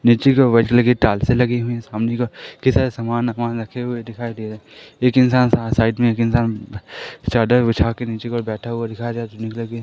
नीचे की ओर बैठने की टाइल्सें लगी हुई हैं सामने का के सारे समान वमान रखे हुए दिखाई दे रहे एक इंसान साइड में एक इंसान चादर बिछा के नीचे की ओर बैठा हुआ दिखाई दे रहा है कलर के --